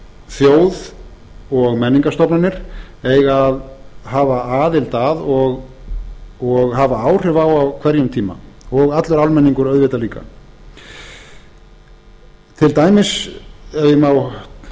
þjóð og menningarstofnanir eiga að hafa aðild að og hafa áhrif á á hverjum tíma og allur almenningur auðvitað líka til dæmis ef ég má